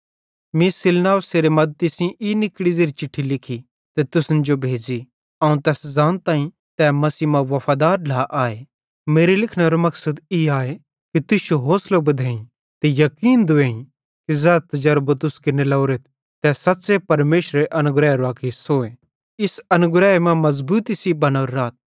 मीं सिलवानुसेरे मद्दती सेइं ई निकड़ी ज़ेरी चिट्ठी लिखी ते तुसन जो भेज़ी अवं तैस ज़ानताईं तै मसीह मां वफादार ढ्ला आए मेरे लिखनेरो मकसद ई आए कि तुश्शो होसलो बधेईं ते याकीन दूवेईं कि ज़ै तजरबो तुस केरने लोरोरेथ तै सच़्च़े परमेशरेरे अनुग्रहेरो अक हिस्सो ए इस अनुग्रहे मां मज़बूती सेइं बनोरे राथ